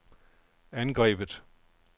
angrebet